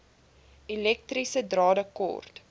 elektriese drade kort